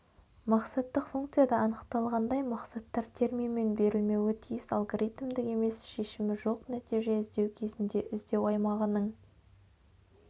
мақсаттық функцияда анықталғандай мақсаттар терминмен берілмеуі тиіс алгоритімдік емес шешімі жоқ нәтиже іздеу кезінде іздеу аймағының